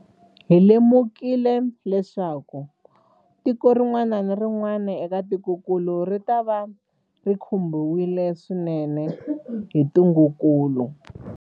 Hi lemukile leswaku tiko rin'wana na rin'wana eka tikokulu ritava ri khumbiwile swinene hi ntungukulu.